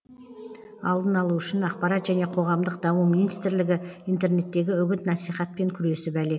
алдын алу үшін ақпарат және қоғамдық даму министрлігі интернеттегі үгіт насихатпен күресіп әлек